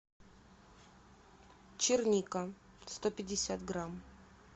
черника сто пятьдесят грамм